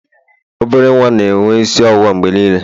obere nwa na-enwe isi ọwụwa mgbe niile